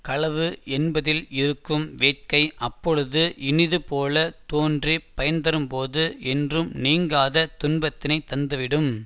களவு என்பதில் இருக்கும் வேட்கை அப்போது இனிது போல தோன்றிப் பயன்தரும்போது என்றும் நீங்காத துன்பத்தினை தந்துவிடும்